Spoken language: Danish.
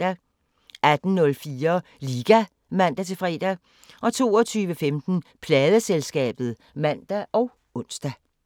18:04: Liga (man-fre) 22:15: Pladeselskabet (man og ons)